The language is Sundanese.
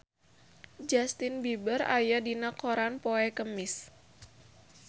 Justin Beiber aya dina koran poe Kemis